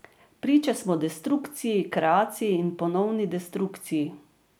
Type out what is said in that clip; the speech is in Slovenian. Priče smo destrukciji, kreaciji in ponovni destrukciji.